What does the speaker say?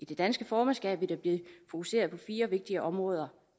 det danske formandskab vil der blive fokuseret på fire vigtige områder